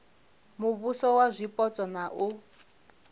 muvhuso wa zwipotso na u